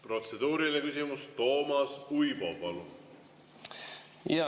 Protseduuriline küsimus, Toomas Uibo, palun!